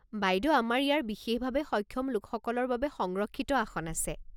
বাইদেউ আমাৰ ইয়াৰ বিশেষভাৱে সক্ষম লোকসকলৰ বাবে সংৰক্ষিত আসন আছে।